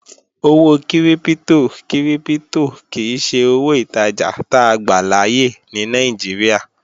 Owó kírípítò kírípítò kìí ṣe owó ìtajà táa gbàláyè ní Nàìjíríà